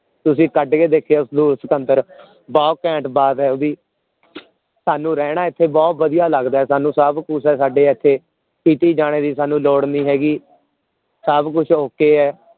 ਤੁਸੀਂ ਕੱਢ ਕੇ ਦੇਖਿਓ ਸਟੂਲ ਸਿਕੰਦਰ ਬਹੁਤ ਘੈਂਟ ਬਾਤ ਹੈ ਓਹਦੀ ਸਾਨੂ ਰਹਿਣਾ ਇਥੇ ਬਹੁਤ ਵਧੀਆ ਲਗਦਾ ਹੈ ਸਾਨੂ ਸਭ ਕੁਛ ਆ ਸਾਡੇ ਇਥੇ ਕੀਤੀ ਜਾਣੇ ਦੀ ਸਾਨੂ ਲੋੜ ਨੀ ਹੈਗੀ ਸਭ ਕੁਛ okay ਹੈ